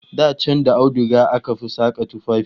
Da can da auduga aka fi saka tufafi